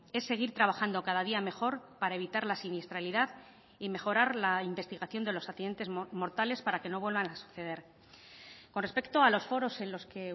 es seguir trabajando cada día mejor para evitar la siniestralidad y mejorar la investigación de los accidentes mortales para que no vuelvan a suceder con respecto a los foros en los que